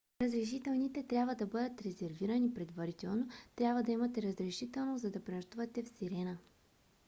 разрешителните трябва да бъдат резервирани предварително. трябва да имате разрешително за да пренощувате в сирена